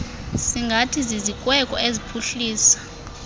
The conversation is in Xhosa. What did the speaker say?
singathi zizikweko eziphuhlisa